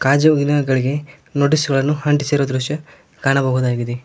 ಗಾಜುಗಳಿಗೆ ನೋಟಿಸ್ ಗಳನ್ನು ಅಂಟಿಸಿರುವ ದೃಶ್ಯ ಕಾಣಬಹುದಾಗಿದೆ.